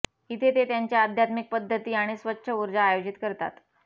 इथे ते त्यांच्या आध्यात्मिक पद्धती आणि स्वच्छ ऊर्जा आयोजित करतात